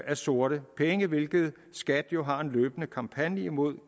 af sorte penge hvilket skat jo har en løbende kampagne imod